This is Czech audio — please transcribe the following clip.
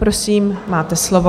Prosím, máte slovo.